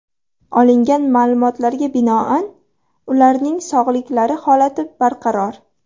Olingan ma’lumotlarga binoan ularning sog‘liklari holati barqaror.